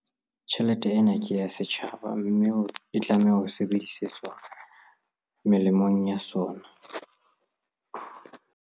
Tjhelete ena ke ya setjhaba, mme e tlameha ho sebedisetswa molemong wa sona.